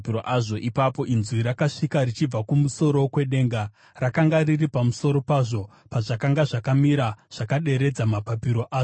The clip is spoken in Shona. Ipapo inzwi rakasvika richibva kumusoro kwedenga rakanga riri pamusoro pazvo, pazvakanga zvakamira zvakaderedza mapapiro azvo.